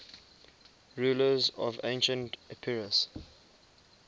rulers of ancient epirus